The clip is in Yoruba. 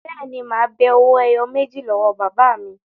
Bẹ́ẹ̀ ni, mà á be owó ẹyọ méjì lọ́wọ́ bàbá mi.